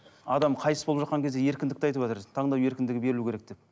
адам қайтыс болып жатқан кезде еркіндікті айтыватыр таңдау еркіндігі берілу керек деп